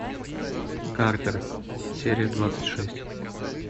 картер серия двадцать шесть